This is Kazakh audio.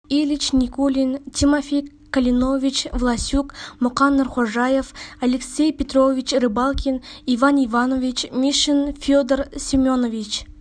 ильич никулин тимофей калинович власюк мұқан нұрхожаев алексей петрович рыбалкин иван иванович мишин федор семенович